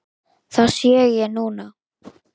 Það sé ég núna.